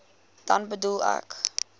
dan bedoel ek